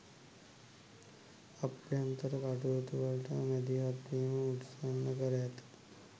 අභ්‍යන්තර කටයුතුවලට මැදිහත්වීම උත්සන්න කර ඇත